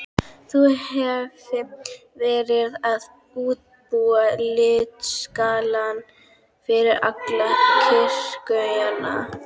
Ég hefi verið að útbúa litaskalann fyrir alla kirkjuna.